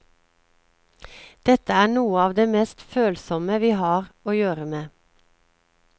Dette er noe av det mest følsomme vi har å gjøre med.